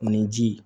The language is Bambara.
Ni ji